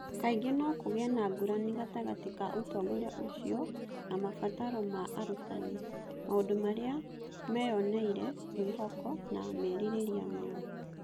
Kaingĩ no kũgĩe na ngũrani gatagatĩ ka ũtongoria ũcio na mabataro ma arutani, maũndũ marĩa meyoneire, mwĩhoko, na merirĩria mao.